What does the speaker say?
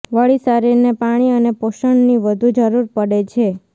વળી શરીરને પાણી અને પોષણની વધુ જરૂર પડે છે